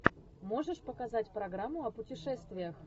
можешь показать программу о путешествиях